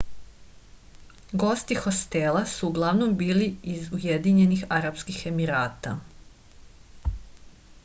gosti hostela su uglavnom bili iz ujedinjenih arapskih emirata